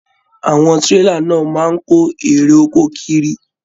Àwọn tírélà náà máa n kò àwọn èrè oko kíri.